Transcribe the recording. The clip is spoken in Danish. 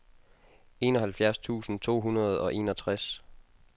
enoghalvfjerds tusind to hundrede og enogtres